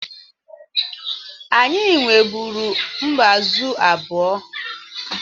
Anyị nweburu mbázụ̀ abụọ.